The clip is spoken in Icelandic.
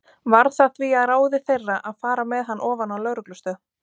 Varð það því að ráði þeirra að fara með hann ofan á lögreglustöð.